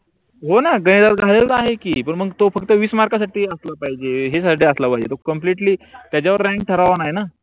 होण गणितात घालवलेला आहे की मग तो फक्त विस मार्क साठी अस पाहिजे हे अस पाहिजे compact त्याच्यावर रांग ठरवण आहे न.